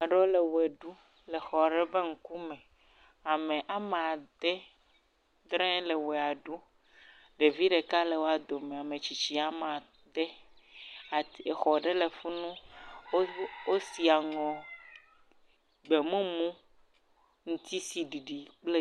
Ame ɖewo le wɔ ɖum, le xɔ aɖe ƒe ŋkume, ame ame ade, adre woe le wɔa ɖu, ɖevi le wo dome, ametsitsi woame ade, exɔ ɖe fi mu, wosi aŋɔ gbemumu, ŋutisiɖiɖi kple…